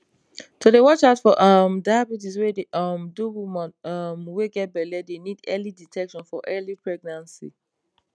to dey watch out for um diabetes wey dey um do woman um wey get belle dey need early detection for early pregnancy